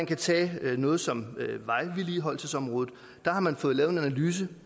kan tage noget som vejvedligeholdelsesområdet der har man fået lavet en analyse